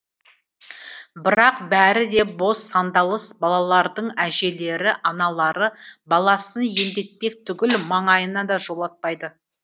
бірақ бәрі де бос сандалыс балалардың әжелері аналары баласын емдетпек түгіл маңайына да жолатпайды